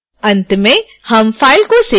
अंत में हम फ़ाइल को सेव करते हैं